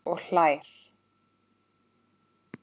Og hlær.